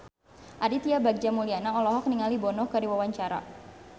Aditya Bagja Mulyana olohok ningali Bono keur diwawancara